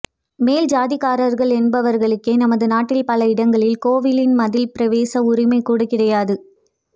மேல் ஜாதிக்காரர்கள் என்பவர்களுக்கே நமது நாட்டில் பல இடங்களில் கோவிலின் மதில் பிரவேச உரிமை கூட கிடையாது